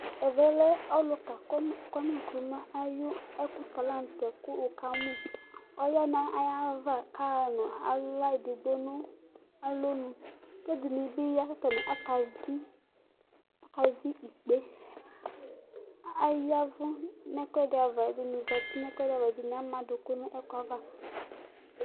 Ɛvɛ lɛ ɔluka kwami Nkruma ayu eku ta la n'tɛ ku wu kamu, ɔya n'ay'ava k'aɣa nu aɣla edigbo nu alonu k'ɛdini bi ya ka atani aka vi ikpe Ay'ɛʊu n'ɛkuɛdi ava ɛdini zati n'ɛkuɛdi ava, ɛdini am'duku n'ɛku'ava